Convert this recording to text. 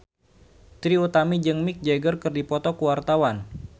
Trie Utami jeung Mick Jagger keur dipoto ku wartawan